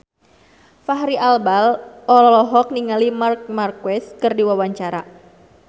Fachri Albar olohok ningali Marc Marquez keur diwawancara